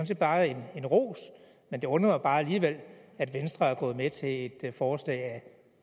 set bare en ros men det undrer mig bare alligevel at venstre er gået med til et forslag af